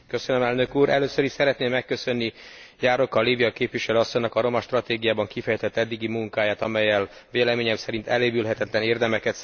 Először is szeretném megköszönni Járóka Lívia képviselő asszonynak a romastratégiában kifejtett eddigi munkáját, amellyel véleményem szerint elévülhetetlen érdemeket szerzett.